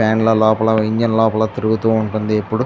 Fan లా లోపల engine లోపల తిరుగుతూ ఉంటుంది. ఇప్పుడు --